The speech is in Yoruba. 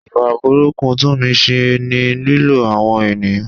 Ìwà burúkú Tunmise ni lílo àwọn ènìyàn.